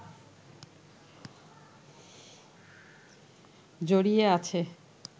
জড়িয়ে আছে